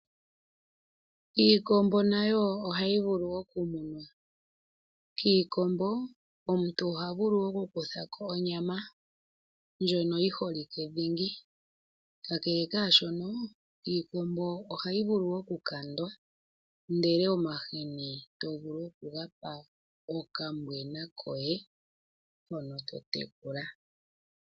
Iikombo nayo oha yi vulu oku munwa, kiikombo omuntu oha vulu oku kuthako onyama ndjo yi holike dhingi, kakele kaashono iikombo oha yi vulu wo oku kandwa ndele omahini to vulu oku ga pa okambwena koye hono to tekula.